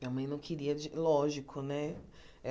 Minha mãe não queria de, lógico, né?